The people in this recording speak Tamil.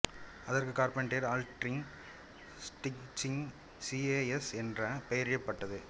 அதற்கு கார்பெண்டீர் ஆல்ட்டிங் ஸ்டிட்சிங் சி ஏ எஸ் என்று பெயரிடப்பட்டது